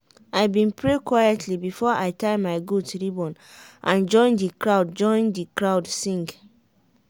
i been pray quietly before i tie my goat ribbon and join the crowd join the crowd sing.